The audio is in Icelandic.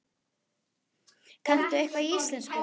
Kanntu eitthvað í íslensku?